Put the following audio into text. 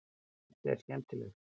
Þetta er skemmtilegt.